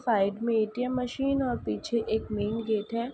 Side में ATM. Machine और पीछे एक मेन गेट है।